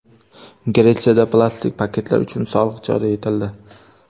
Gretsiyada plastik paketlar uchun soliq joriy etildi.